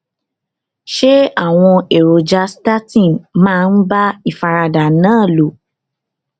ṣé àwọn èròjà statin máa ń bá ìfaradà náà lò